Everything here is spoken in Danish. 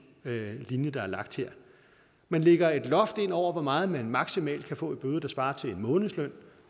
linje der er lagt her man lægger et loft ind over hvor meget man maksimalt kan få i bøde der svarer til en månedsløn